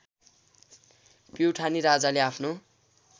प्युठानी राजाले आफ्नो